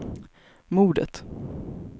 mordet